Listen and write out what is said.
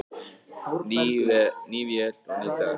Ný vél og ný dekk